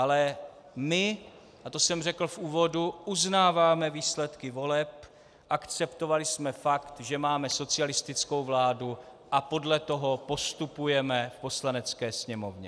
Ale my, a to jsem řekl v úvodu, uznáváme výsledky voleb, akceptovali jsme fakt, že máme socialistickou vládu, a podle toho postupujeme v Poslanecké sněmovně.